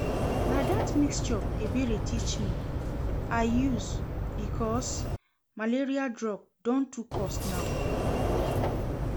Na dat mixture Ebere teach me I use because malaria drug don too cost now